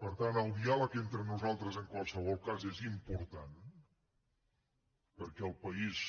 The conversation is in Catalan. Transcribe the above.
per tant el diàleg entre nosaltres en qualsevol cas és important perquè el país